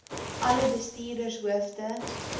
alle bestuurders hoofde